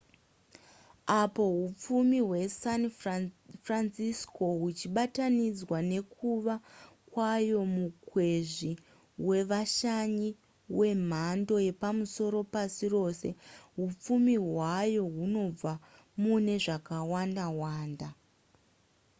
apo hupfumi hwesan francisco huchibatanidzwa nekuva kwayo mukwezvi wevashanyi wemhando yepamusoro pasi rose hupfumi hwayo hunobva mune zvakawanda wanda